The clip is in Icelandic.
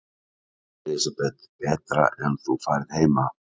Elísabet: Betra en þú færð heima?